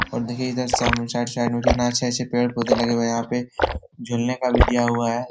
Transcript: और देखिये इधर सामने साइड -साइड में कितने अच्छे पेड़-पोधे लगे हुए हैं। यहाँ पे झूलने का भी दिया हुआ है।